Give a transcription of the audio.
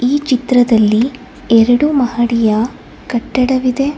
ಈ ಚಿತದ್ರಲ್ಲಿ ಎರಡು ಮಹಡಿಯ ಕಟ್ಟಡವಿದೆ.